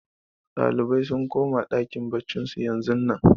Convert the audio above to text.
Ɗalibai sun koma ɗakin baccin su yanzun nan